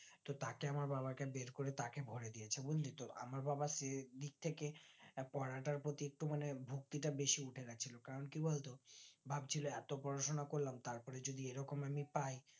তো তাকে আমার বাবাকে বের করে তাকে ভোরে দিয়েছে বুজলিতো আমার বাবা list থেকে পড়াটার প্রতি একটু মানে ভক্তিটা বেশি উঠে গেছিলো কারণ কি বলতো ভাবছিলো এতো পড়াশোনা করলাম তার পরে যদি এইরকম অবস্থা হয়